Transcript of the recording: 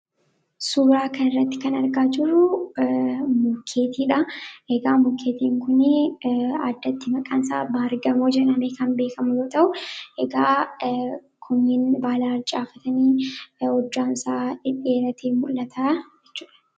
Suuraa kana irratti kan argaa jiruu mukeeniidha egaa mukkeen kunii addatti maqaansaa baargamoo jadhamee kan beekamuyoo ta'u egaa kuniin baala harcaafatanii hojjaansaa dheeratee mul'ata jechuudha.